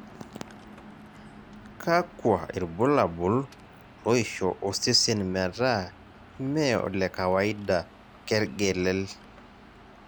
kakua irbulabol loisho osesen metaa ime olekawaida kergelel?